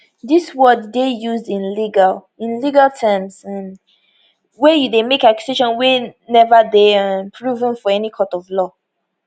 dis word dey used in legal in legal terms um wey you dey make accusation wey neva dey um proven for any court of law